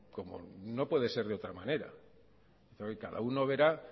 como no puede ser de otra manera cada uno verá